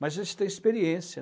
Mas a gente tem experiência.